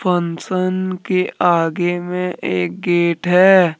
Function के आगे में एक गेट है।